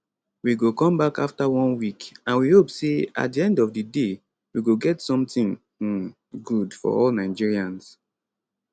we go come back afta one week and we hope say at di end of di day we go get something um good for all nigerians